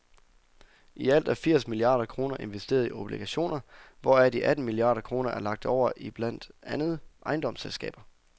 I alt er firs milliarder kroner investeret i obligationer, hvoraf de atten milliarder kroner er lagt over i blandt andet ejendomsselskaber.